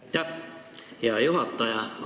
Aitäh, hea juhataja!